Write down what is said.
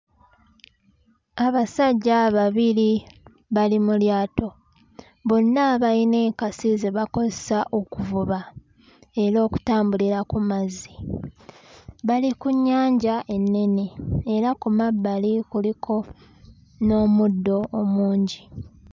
Abasajja babiri bali mu lyato bonna bayina enkasi ze bakozesa okuvuba era okutambulira ku mazzi bali ku nnyanja ennere era ku mabbali kuliko n'omuddo omungi.